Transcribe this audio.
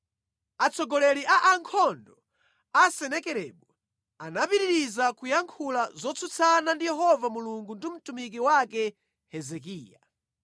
Atsogoleri a ankhondo a Senakeribu anapitiriza kuyankhula zotsutsana ndi Yehova Mulungu ndi mtumiki wake Hezekiya.